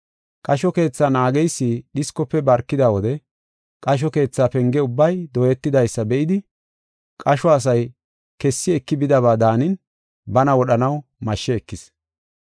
Qasho keethaa naageysi dhiskofe barkida wode qasho keethaa penge ubbay dooyetidaysa be7idi qasho asay kessi eki bidaba daanin bana wodhanaw mashshe ekis.